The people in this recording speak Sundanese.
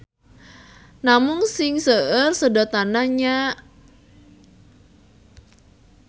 Namung sing seueur sedotanana nya.